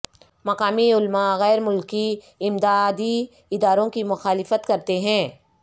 مقامی علماء غیرملکی امدادی اداروں کی مخالفت کرتے ہیں